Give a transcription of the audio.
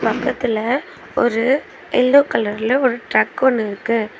பக்கத்துல ஒரு எல்லோ கலர்ல ட்ரக் ஒன்னு இருக்கு.